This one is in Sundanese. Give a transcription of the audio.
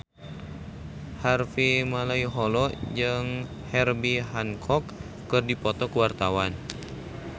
Harvey Malaiholo jeung Herbie Hancock keur dipoto ku wartawan